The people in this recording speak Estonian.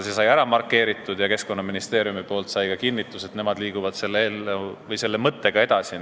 See sai ära markeeritud ja Keskkonnaministeeriumilt saime ka kinnituse, et nemad liiguvad selle mõttega edasi.